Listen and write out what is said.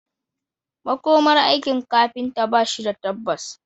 Makomar aikin kafinta ba shi da tabbas